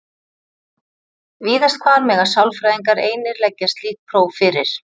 víðast hvar mega sálfræðingar einir leggja slík próf fyrir